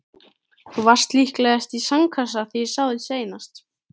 Þú varst líklegast í sandkassa þegar ég sá þig seinast.